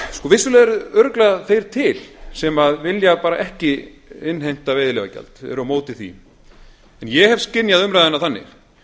vissulega eru örugglega þeir til sem vilja ekki innheimta veiðileyfagjald eru á móti því en ég hef skynjað umræðuna þannig